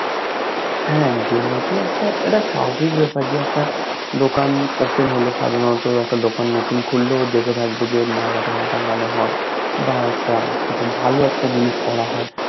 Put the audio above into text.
হ্যাঁ যেহেতু একটা এটা স্বাভাবিক বেপার যে একটা দোকান Open হলে সাধারণত একটা দোকান নতুন খুললেও দেখে থাকবে যে মালা টালা টাঙানো হয় বা একটা কিছু ভালো একটা জিনিস করা হয়